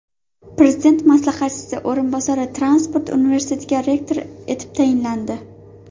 Prezident maslahatchisi o‘rinbosari Transport universitetiga rektor etib tayinlandi.